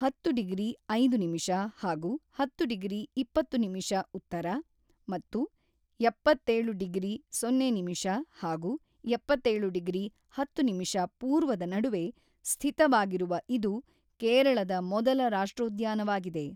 ಹತ್ತು ಡಿಗ್ರಿ ಐದು ನಿಮಿಷ ಹಾಗೂ ಹತ್ತು ಡಿಗ್ರಿ ಇಪ್ಪತ್ತು ನಿಮಿಷ ಉತ್ತರ ಮತ್ತು ಎಪ್ಪತ್ತೇಳು ಡಿಗ್ರಿ ಸೊನ್ನೆ ನಿಮಿಷ ಹಾಗೂ ಎಪ್ಪತ್ತೇಳು ಡಿಗ್ರಿ ಹತ್ತು ನಿಮಿಷ ಪೂರ್ವದ ನಡುವೆ ಸ್ಥಿತವಾಗಿರುವ ಇದು ಕೇರಳದ ಮೊದಲ ರಾಷ್ಟ್ರೋದ್ಯಾನವಾಗಿದೆ.